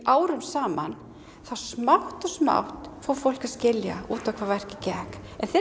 árum saman þá smátt og smátt fór fólk að skilja út á hvað verkið gekk en þegar